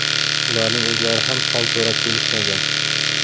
Ularning o‘zlari ham hol so‘rab kelishmagan.